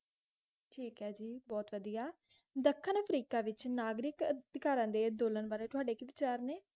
ਠੀਕ ਏ ਜੀ, ਬਹੁਤ ਵਧੀਆ, ਦੱਖਣ ਅਫ੍ਰੀਕਾ ਵਿਚ ਨਾਗਰਿਕ ਅਧਿਕਾਰਾਂ ਦੇ ਅੰਦੋਲਨ ਬਾਰੇ ਤੁਹਾਡੇ ਕੀ ਵਿਚਾਰ ਨੇ?